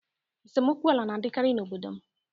Esemokwu ala na-adịkarị n'obodo m